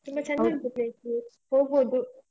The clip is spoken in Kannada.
ಹೋಗ್ಬೋದು.